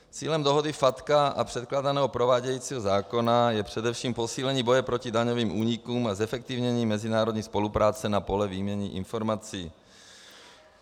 Cílem dohody FATCA a předkládaného provádějícího zákona je především posílení boje proti daňovým únikům a zefektivnění mezinárodní spolupráce na poli výměny informací.